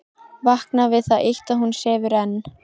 Vakna við það eitt að hún sefur enn.